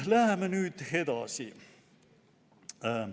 Läheme nüüd edasi.